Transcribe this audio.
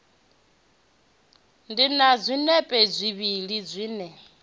ḓe na zwinepe zwivhili zwine